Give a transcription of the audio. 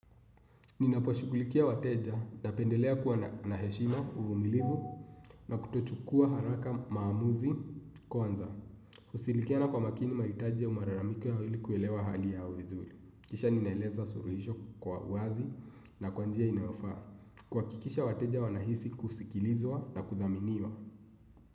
Ninaposhughulikia wateja napendelea kuwa na heshima uvumilivu na kutochukua haraka maamuzi kwanza. Kushirikiana kwa makini mahitaji au malalamiko yao ili kuelewa hali ya vizuri. Kisha ninaeleza suluhisho kwa wazi na kwa njia inayofaa. Kuhakikisha wateja wanahisi kusikilizwa na kuthaminiwa.